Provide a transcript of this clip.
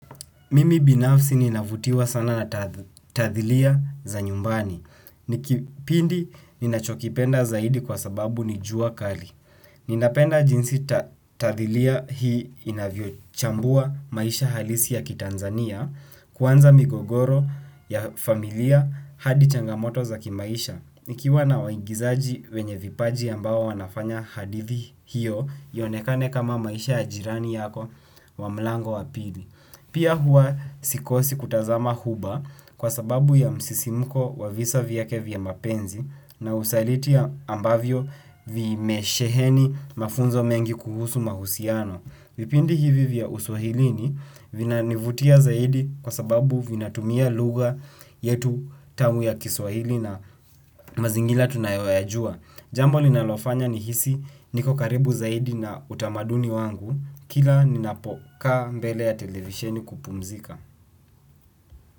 Mimi binafsi ninavutiwa sana na tathilia za nyumbani. Kipindi ninachokipenda zaidi kwa sababu ni jua kali. Ninapenda jinsi tathilia hii inavyo chambua maisha halisi ya kitanzania. Kwanza migogoro ya familia hadi changamoto za kimaisha. Nikiwa na waingizaji wenye vipaji ambao wanafanya hadithi hiyo iyonekane kama maisha yaj irani yako wa mlango wa pili. Pia hua sikosi kutazama huba kwa sababu ya msisimuko wa visa vyake vya mapenzi na usaliti ambavyo vimesheheni mafunzo mengi kuhusu mahusiano. Vipindi hivi vya uswahilini vina nivutia zaidi kwa sababu vina tumia lugha yetu tamu ya kiswahili na mazingira tunayoyajua. Jambo linalofanya ni hisi niko karibu zaidi na utamaduni wangu kila ninapokaa mbele ya televisheni kupumzika.